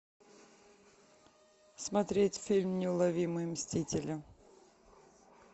смотреть фильм неуловимые мстители